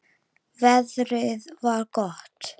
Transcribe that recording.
Veðrið var gott.